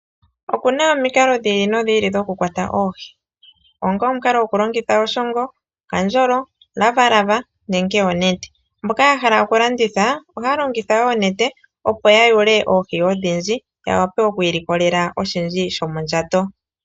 Oku na omikalo dhi ili nodhi ili dhoku kwata oohi, onga omukalo gwokulongitha oshongo, okandjolo, omulavalava nenge onete. Mboka ya hala okulanditha, ohaya longitha oonete opo ya yule oohi odhindji, ya wape oku ilikolela oshindji shomondjato.